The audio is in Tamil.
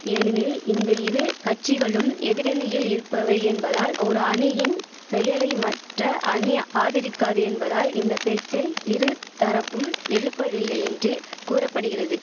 ஏனெனில் இந்த இரு கட்சிகளும் எதிரணியில் இருப்பவை என்பதால் ஒரு அணியின் செயலை மற்ற அணி ஆதரிக்காது என்பதால் இந்த பேச்சை இரு தரப்பும் எழுப்பவில்லை என்று கூற படிகிறது